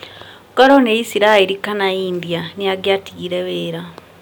Korũo nĩ Isiraeri kana India, nĩ angĩatigire wĩra